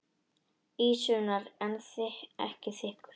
Ísinn var ekki þykkur.